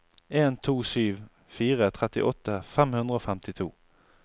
en to sju fire trettiåtte fem hundre og femtito